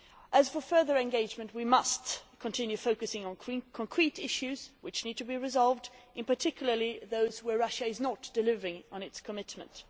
As for further engagement, we must continue focusing on concrete issues which need to be resolved, particularly those where Russia is not delivering on its commitments.